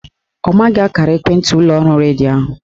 Ọ maghị akara ekwentị ụlọọrụ redio ahụ